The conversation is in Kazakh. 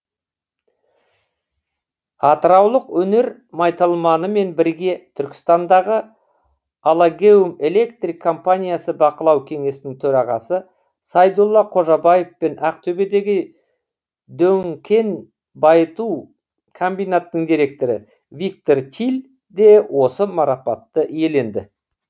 атыраулық өнер майталманымен бірге түркістандағы алагеум электрик компаниясы бақылау кеңесінің төрағасы сайдулла қожабаев пен ақтөбедегі дөң кен байыту комбинатының директоры виктор тиль де осы марапатты иеленді